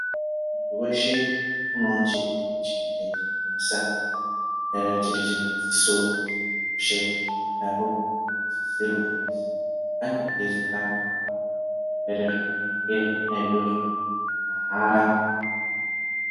Munthu weshe unewo chirwere chingadai cheimunesa, mhera chiri chemadziso munthu weshe wakadaro unosiisira kuzi ange eizorapwawo zvirwere zvakadai ngezvona izvozvo mahara.